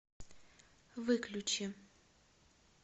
выключи